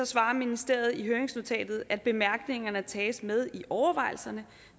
svarer ministeriet i høringsnotatet at bemærkningerne tages med i overvejelserne